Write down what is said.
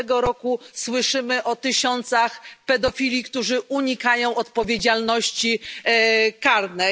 Każdego roku słyszymy o tysiącach pedofili, którzy unikają odpowiedzialności karnej.